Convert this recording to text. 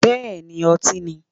Bẹ́ẹ̀ni ọtí ni.